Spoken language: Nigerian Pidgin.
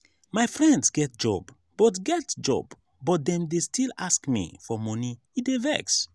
my friends get job but get job but dem dey still ask me for moni e dey vex.